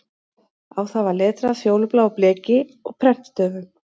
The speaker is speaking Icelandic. Á það var letrað fjólubláu bleki og prentstöfum